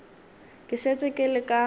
ke šetše ke le ka